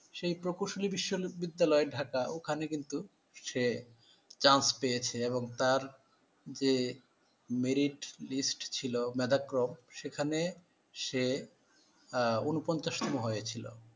সেই প্রকৌশলী বিশ্ববিদ্যালয়, ঢাকা ওখানে। কিন্তু সে সুযোগ পেয়েছে এবং তার যে মিনিট সূচিপত্র ছিল মেধাক্রম সেখানে সে উনপঞ্চাশতম হয়েছিল